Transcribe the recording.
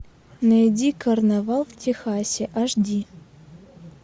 найди карнавал в техасе аш ди